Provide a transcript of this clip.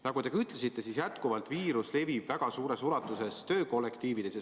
Nagu te ütlesite, viirus levib väga suures ulatuses töökollektiivides.